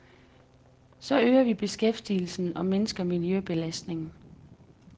Så øger vi beskæftigelsen og mindsker miljøbelastningen.